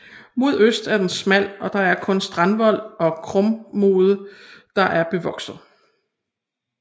Mod øst er den smal og det er kun strandvolden og krumodden der er bevokset